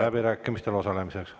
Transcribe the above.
… läbirääkimistel osalemise eest.